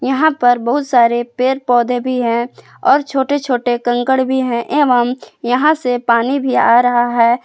यहां पर बहुत सारे पेड़ पौधे भी है और छोटे छोटे कंकर भी हैं एवं यहां से पानी भी आ रहा है।